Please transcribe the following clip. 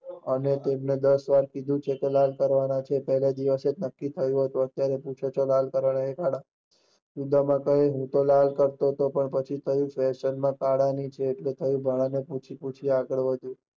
અમે તમને દાસ વાર કહીંયુ હતું કે લાલ કરવાનું કહીંયુ હતું, ત્યારે જ નક્કી કરિયું હતું, અત્યારે પૂછયો છો, લાલ કરવાના છે કે કાલા, ઉદામમાં કહે હું તો લાલ કરવાનો હતો પછી ફેશન કાલા ની છે એટલે થયું કે ભાણા ને પૂછું ને આગળ વધુ